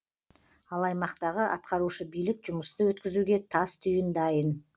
ал аймақтағы атқарушы билік жұмысты өткізуге тас түйін дайын